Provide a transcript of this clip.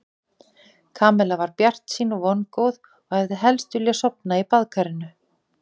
Kamilla var bjartsýn og vongóð og hefði helst vilja sofna í baðkarinu.